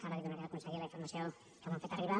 ara li donaré al conseller la informació que m’han fet arribar